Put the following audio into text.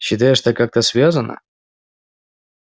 считаешь это как-то связано